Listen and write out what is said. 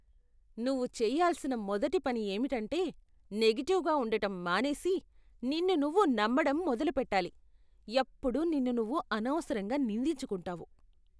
నువ్వు చేయాల్సిన మొదటి పని ఏమిటంటే నెగటివ్గా ఉండటం మానేసి, నిన్ను నువ్వు నమ్మడం మొదలుపెట్టాలి. ఎప్పుడూ నిన్ను నువ్వు అనవసరంగా నిందించుకుంటావు.